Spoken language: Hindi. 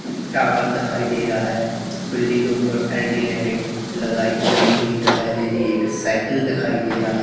टावर देखाई दे रहा है बिल्डिंग के ऊपर एल_ई_डी लैटे लगे लगी हुई दिखाई दे रही है एक साइकिल दिखाई दे रहा--